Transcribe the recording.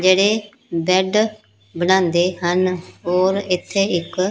ਜਿਹੜੇ ਬੈੱਡ ਬਣਾਉਂਦੇ ਹਨ ਓਰ ਇੱਥੇ ਇੱਕ--